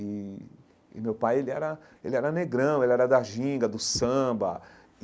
E e meu pai ele era ele era negrão, ele era da ginga, do samba e.